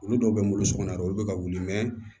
Olu dɔw bɛ n bolo sokɔnɔ dɛ olu bɛ ka wuli